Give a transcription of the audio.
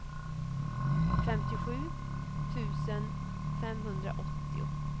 femtiosju tusen femhundraåttio